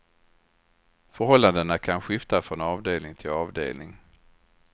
Förhållandena kan skifta från avdelning till avdelning.